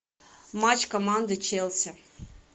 матч команды челси